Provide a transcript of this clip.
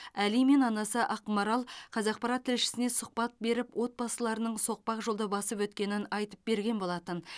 әли мен анасы ақмарал қазақпарат тілшісіне сұхбат беріп отбасыларының соқпақ жолды басып өткенін айтып берген болатын